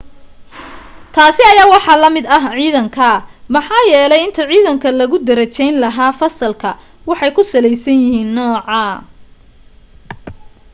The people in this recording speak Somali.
taasi ayaa waxaa la mid ah ciidanka maxaa yeelay inta ciidanka lagu darajayn lahaa fasalka waxay ku salaysan yihiin nooca